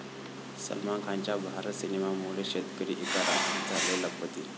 सलमान खानच्या भारत सिनेमामुळे शेतकरी एका रात्रीत झाले लखपती